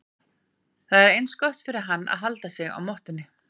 Það sé eins gott fyrir hann að halda sig á mottunni.